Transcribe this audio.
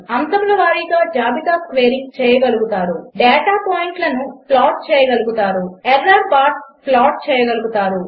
3 అంశముల వారిగా జాబితా స్క్వేరింగ్ చేయగలుగుతారు 4 డేటా పాయింట్లను ప్లాట్ చేయగలుగుతారు 5 ఎర్రర్ బార్స్ ప్లాట్ చేయగలుగుతారు